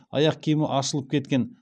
аяқ киімі ашылып кеткен